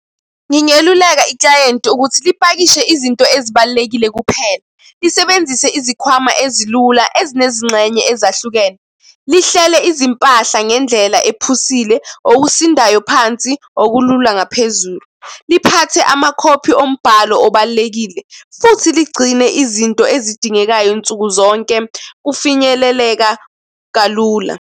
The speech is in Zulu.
Ngingeluleka iklayenti ukuthi lipakishe izinto ezibalulekile kuphela. Lisebenzisane izikhwama ezilula ezinezingxenye ezahlukene. Lihlele izimpahla ngendlela ephusile, okusindayo phansi, okulula ngaphezulu. Liphathe amakhophi ombhalo obalulekile futhi ligcine izinto ezidingekayo nsuku zonke kufinyeleleka kalula.